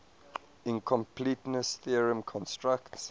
incompleteness theorem constructs